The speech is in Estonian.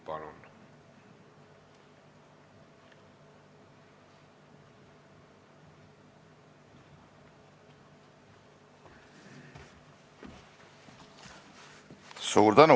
Palun!